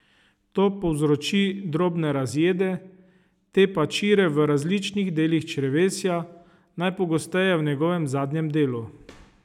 To povzroči drobne razjede, te pa čire v različnih delih črevesja, najpogosteje v njegovem zadnjem delu.